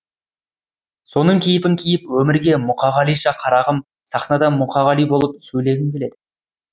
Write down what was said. соның кейпін киіп өмірге мұқағалиша қарағым сахнадан мұқағали болып сөйлегім келеді